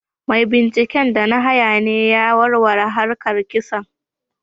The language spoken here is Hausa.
Mai binciken da na haya ne ya warware harkan kisan.